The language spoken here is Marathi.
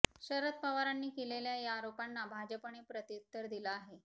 शरद पवारांनी केलेल्या या आरोपांना भाजपने प्रत्युत्तर दिलं आहे